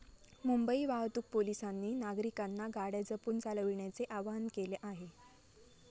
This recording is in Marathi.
मुंबई वाहतूक पोलिसांनी नागरिकांना गाड्या जपून चालविण्याचे आवाहन केले आहे.